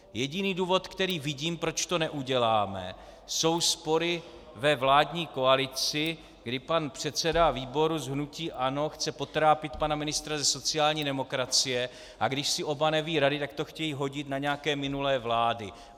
Jediný důvod, který vidím, proč to neuděláme, jsou spory ve vládní koalici, kdy pan předseda výboru z hnutí ANO chce potrápit pana ministra ze sociální demokracie, a když si oba nevědí rady, tak to chtějí hodit na nějaké minulé vlády.